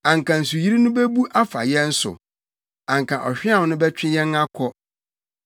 anka nsuyiri no bebu afa yɛn so, anka ɔhweam no bɛtwe yɛn akɔ,